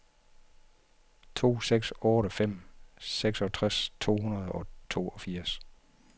to seks otte fem seksogtres to hundrede og toogfirs